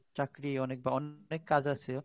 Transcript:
অনেক চাকুরি বা অনেক কাজ আছে